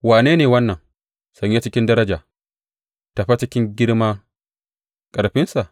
Wane ne wannan, sanye cikin daraja, tafe cikin girmar ƙarfinsa?